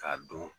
K'a don